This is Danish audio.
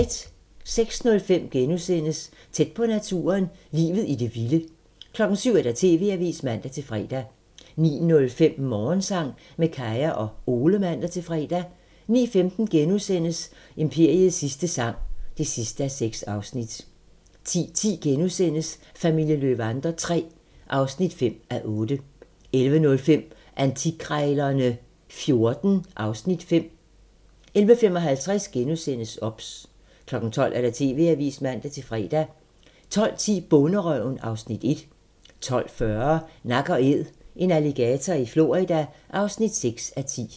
06:05: Tæt på naturen - Livet i det vilde * 07:00: TV-avisen (man-fre) 09:05: Morgensang med Kaya og Ole (man-fre) 09:15: Imperiets sidste sang (6:6)* 10:10: Familien Löwander III (5:8)* 11:05: Antikkrejlerne XIV (Afs. 5) 11:55: OBS * 12:00: TV-avisen (man-fre) 12:10: Bonderøven (Afs. 1) 12:40: Nak & Æd - en alligator i Florida (6:10)